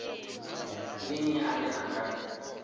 ndi nnyi ane a nga